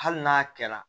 Hali n'a kɛra